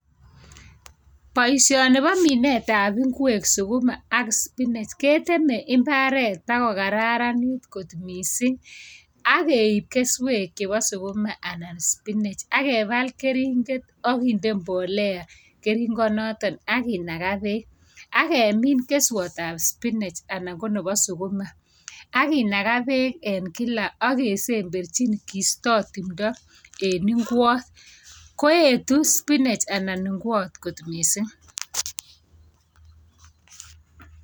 Boishoni bo minetab ab ingwek sukuma ak spinach , ketemei imaret ako kararanit mising ak keib keswek chebo sukuma anan spinach ak kepal keriget ak kinde mbolea keringenotok ak kenaga bek. Ak kemin keswatab spinach anan ko nebo sukuma. Ak kinaga bek ak kesemberchi ak keisto timto eng ingwat. Koetu spinach anan ingwat kot mising.